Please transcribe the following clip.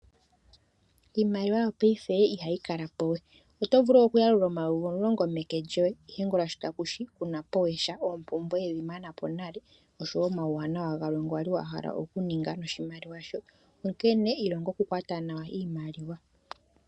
Iimaliwa yopaife ihayi kalapowe oto vulu oku yalula omayovi omulongo meke lyoye ihe ongula sho takushi kunapowe sha oompumbwe wedhi manapo nale oshowo omawuwanawa galwe ngono wali wa hala oku ninga noshimaliwa sho onkene ilonga oku kwata nawa iimaliwa.